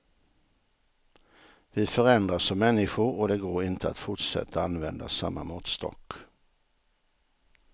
Vi förändras som människor och det går inte att fortsätta använda samma måttstock.